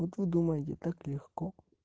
вот вы думаете так легко